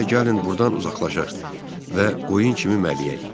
İndi isə gəlin burdan uzaqlaşaq və qoyun kimi mələyək.